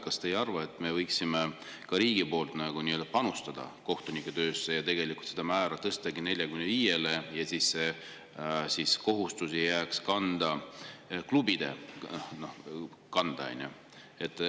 Kas te ei arva, et me võiksime ka riigi poolt panustada kohtunike töösse ja tegelikult selle määra tõstagi 45-le, ja nii, et see kohustus ei jääks klubide kanda?